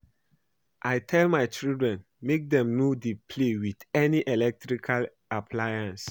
I tell my children make dem no dey play with any electrical appliance